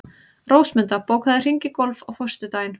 Rósmunda, bókaðu hring í golf á föstudaginn.